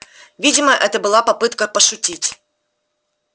видимо это была попытка пошутить